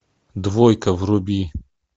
двойка вруби